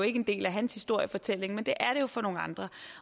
ikke en del af hans historiefortælling men det er det jo for nogle andre